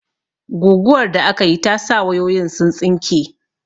Guguwar da akayi ta sa wayoyin sun tsinke